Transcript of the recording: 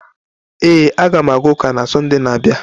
Ee, a ga m aga ụka na Sọnde na-abịa.